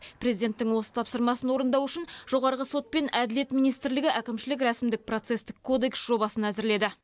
президенттің осы тапсырмасын орындау үшін жоғарғы сот пен әділет министрлігі әкімшілік рәсімдік процестік кодекс жобасын әзірледі